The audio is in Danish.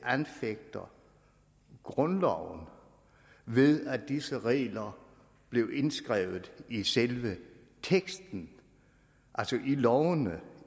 anfægte grundloven ved at disse regler blev indskrevet i selve teksten altså i lovene